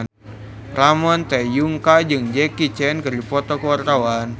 Ramon T. Yungka jeung Jackie Chan keur dipoto ku wartawan